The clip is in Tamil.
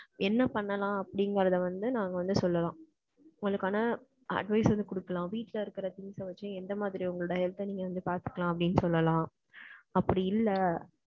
என்ன பண்ணலாம்? அப்படிங்கறதை வந்து, நாங்க வந்து சொல்லலாம். உங்களுக்கான, advice வந்து குடுக்கலாம். வீட்டுல இருக்கற things அ வெச்சு, எந்த மாதிரி, உங்களோட health அ, நீங்க வந்து, பாத்துக்கலாம், அப்படின்னு சொல்லலாம். அப்படி இல்ல